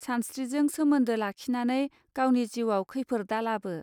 सानस्त्रिजों सोमोन्दो लाखिनानै गावनि जिउआव खैफोर दालाबो